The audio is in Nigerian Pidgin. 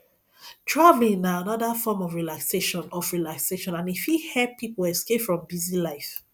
traveling na anoda form of relaxation of relaxation and e fit help pipo escape from busy life